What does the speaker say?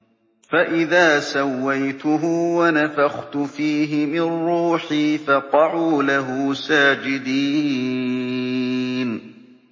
فَإِذَا سَوَّيْتُهُ وَنَفَخْتُ فِيهِ مِن رُّوحِي فَقَعُوا لَهُ سَاجِدِينَ